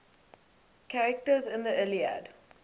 characters in the iliad